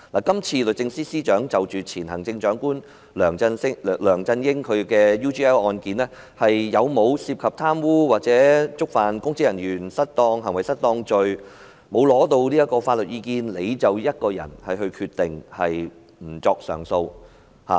今次，律政司司長就前行政長官梁振英在 UGL 案件中有否涉及貪污或觸犯公職人員行為失當罪一事，她沒有尋求外間的法律意見，便自己一人決定不作上訴。